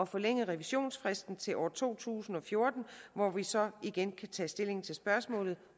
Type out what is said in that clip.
forlænge revisionsfristen til år to tusind og fjorten hvor vi så igen kan tage stilling til spørgsmålet